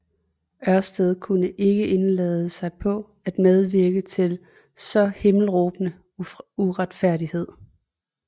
Ørsted kunne ikke indlade sig på at medvirke til en så himmelråbende uretfærdighed